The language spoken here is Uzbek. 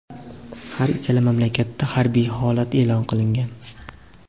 Har ikkala mamlakatda harbiy holat e’lon qilingan .